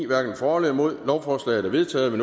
hverken for eller imod stemte lovforslaget er vedtaget og